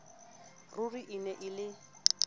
ruri e ne e le